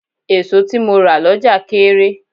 Èso tí mo rà lọ́jà kééré.